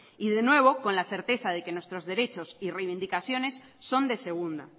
y de nuevo con la certeza de que nuestros derechos y reivindicaciones son de segunda